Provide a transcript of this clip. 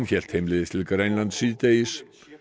hélt heimleiðis til Grænlands síðdegis